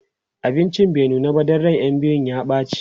abincin bai nuna ba Dan ran ƴan biyun ya ɓace